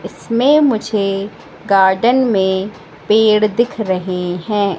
इसमें मुझे गार्डन में पेड़ दिख रहे हैं।